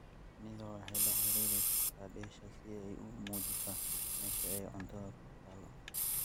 Shinnidu waxay la xidhiidhi kartaa "dheesha" si ay u muujiso meesha ay cuntada ku taal.